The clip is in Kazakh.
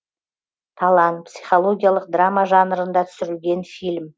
талан психологиялық драма жанрында түсірілген фильм